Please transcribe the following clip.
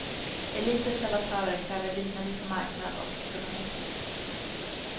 Elitens debattörer kräver lydnad inför marknad och ekonomism.